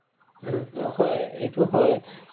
উম, হয় এইটো হয়